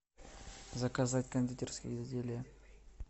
заказать кондитерские изделия